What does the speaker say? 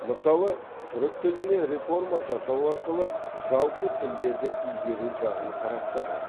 мысалы түрік тіліне реформа жасау арқылы жалпы тілдерді игеру жағын қарастырған